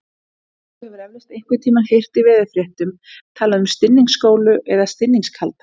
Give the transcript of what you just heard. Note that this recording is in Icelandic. Þú hefur eflaust einhvern tímann heyrt í veðurfréttum talað um stinningsgolu eða stinningskalda.